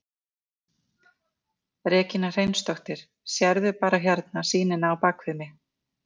Regína Hreinsdóttir: Sérðu bara hérna sýnina á bakvið mig?